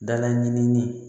Dala ɲinini